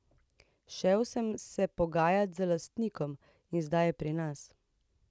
Šel sem se pogajat z lastnikom in zdaj je pri nas.